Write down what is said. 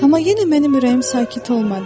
Amma yenə mənim ürəyim sakit olmadı.